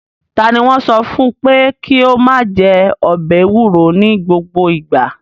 Ta ni wọ́n sọ fún pé kí ó máa jẹ ọbẹ̀ ewuro ní gbogbo ìgbà?